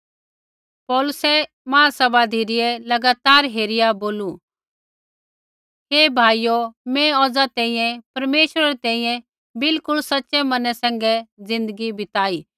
पौलुसै महासभा धिरै लगातार हेरिया बोलू हे भाइयो मैं औज़ा तैंईंयैं परमेश्वरै री तैंईंयैं बिलकुल सच़ै मनै ज़िन्दगी बिताई